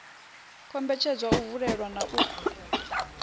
kombetshedza u vulelwa na u